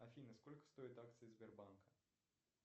афина сколько стоят акции сбербанка